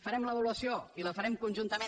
farem l’avaluació i la farem conjuntament